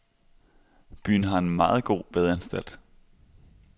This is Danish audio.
Byen har en meget god badeanstalt.